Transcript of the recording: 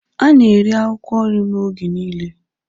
A na-eri akwụkwọ nrị m oge niile.